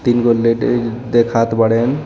तीन गो लेडीज देखात बाड़ेन.